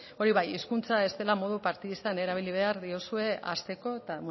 hori bai hizkuntza ez dela modu partidistan erabili behar diozue hasteko eta